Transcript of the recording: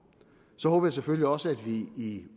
så selvfølgelig også at vi i